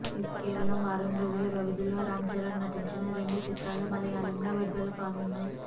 ఇలా కేవలం వారం రోజుల వ్యవధిలో రామ్ చరణ్ నటించిన రెండు చిత్రాలు మలయాళం లో విడుదలకానున్నాయి